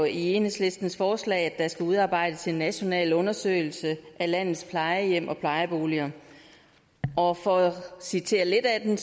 i enhedslistens forslag at der skal udarbejdes en national undersøgelse af landets plejehjem og plejeboliger og for at citere lidt af den